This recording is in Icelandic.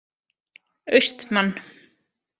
Austmann